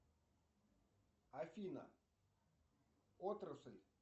афина отрасль